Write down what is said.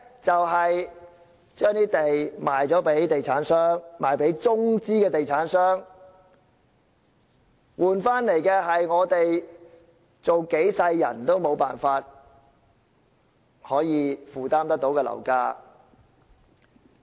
把土地賣給地產商，特別是中資地產商，換來的是即使我們做數輩子人也無法負擔的樓價。